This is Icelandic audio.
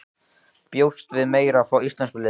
Bjóstu við meira frá íslenska liðinu?